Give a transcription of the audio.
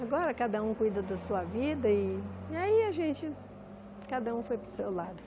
Agora cada um cuida da sua vida e aí a gente, cada um foi para o seu lado.